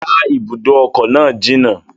Rárá, ibùdó ọkọ̀ náà jìnà